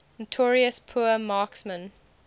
notorious poor marksmen